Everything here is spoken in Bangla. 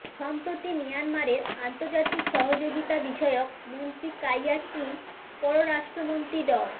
সম্প্রতি মিয়ানমারের আন্তর্জাতিক সহযোগিতাবিষয়ক মন্ত্রী কাইয়া টিন পররাষ্ট্রমন্ত্রী ড